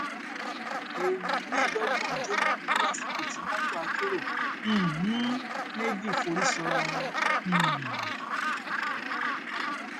èèyàn mẹẹẹdọgbọn jóná kú lásìkò tí mọtò akérò um méjì forí sọra wọn um